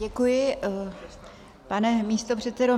Děkuji, pane místopředsedo.